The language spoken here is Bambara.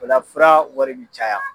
O la fura wari bɛ caya.